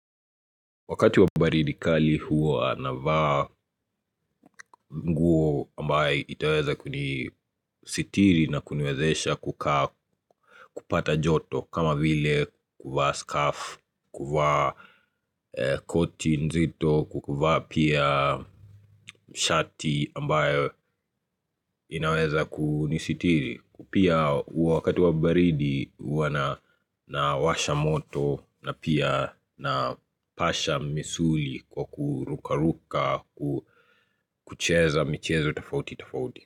Wakati wa baridi kali huwa navaa nguo ambayo itaweza kunisitiri na kuniwezesha kukaa kupata joto kama vile kuvaa skafu, kuvaa koti nzito, kuvaa pia shati ambayo inaweza kunisitiri Pia huwa wakati wa baridi huwa nawasha moto na pia na pasha misuli kwa kurukaruka kucheza michezo tofauti tofauti.